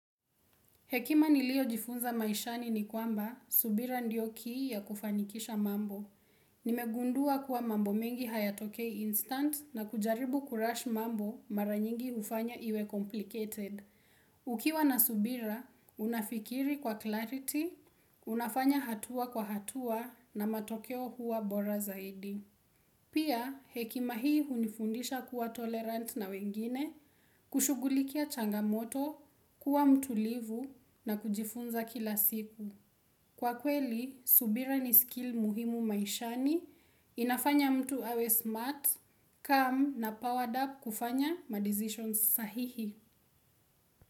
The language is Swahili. Hekima niliojifunza maishani ni kwamba, subira ndio kii ya kufanikisha mambo. Nimegundua kuwa mambo mengi hayatokei instant na kujaribu kurash mambo mara nyingi hufanya iwe complicated. Ukiwa na subira, unafikiri kwa clarity, unafanya hatua kwa hatua na matokeo huwa bora zaidi. Pia hekima hii hunifundisha kuwa tolerant na wengine, kushugulikia changamoto, kuwa mtulivu na kujifunza kila siku. Kwa kweli, subira ni skill muhimu maishani, inafanya mtu awe smart, calm na powered up kufanya ma decisions sahihi.